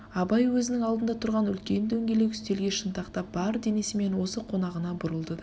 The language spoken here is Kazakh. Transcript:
абай өзінің алдында тұрған үлкен дөңгелек үстелге шынтақтап бар денесімен осы қонағына бұрылды да